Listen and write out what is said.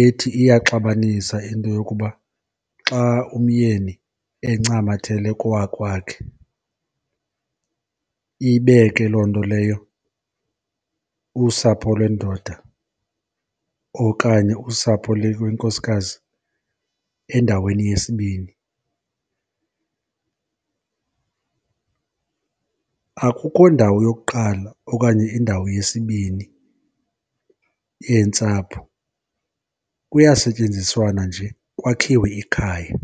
ethi iyaxabanisa into yokuba xa umyeni encamathele kowakwakhe ibeke loo nto leyo usapho lwendoda okanye usapho lwenkosikazi endaweni yesibini. Akukho ndawo yokuqala okanye indawo yesibini yentsapho, kuyasetyenziswana nje kwakhiwe ikhaya.